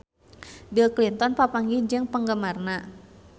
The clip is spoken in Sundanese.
Bill Clinton papanggih jeung penggemarna